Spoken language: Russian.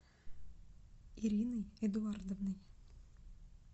ириной эдуардовной